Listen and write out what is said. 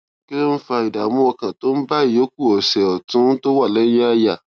kí ló ń fa ìdààmú ọkàn tó ń bá ìyókù ọsè òtún tó wà léyìn àyà